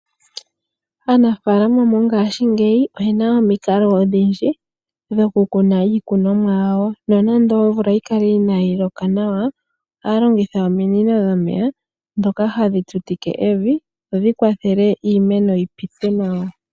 Aanaafalama mongaashi ngeyi oye na omikalo odhindji dhokukuna iikunomwa yawo, nonando omvula oya kala inayi loka nawa ohaya longitha ominino dhomeya ndhoka hadhi tutike evi dhodhi kwathele iimeno yi pite nawa.